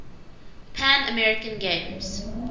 pan american games